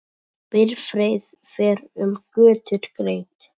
Bifreið fer um götur greitt.